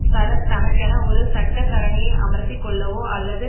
சரத் தனக்கென ஒரு சட்டத்தரணியை அமர்த்தி கொள்ளவோ அல்லது